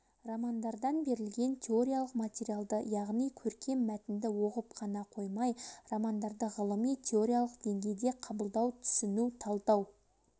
романдардан берілетін теориялық материалды яғни көркем мәтінді оқып қана қоймай романдарды ғылыми-теориялық деңгейде қабылдау түсіну талдау